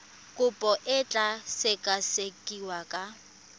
kopo e tla sekasekiwa ka